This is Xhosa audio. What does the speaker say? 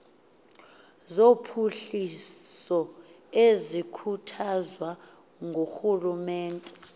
zophuhliso ezikhuthazwa ngurhulumente